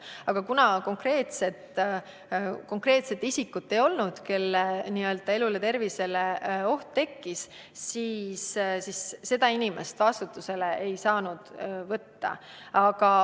Aga kuna konkreetset isikut, kelle elule ja tervisele oht tekkinuks, ei olnud, siis inimest vastutusele ei saanud võtta.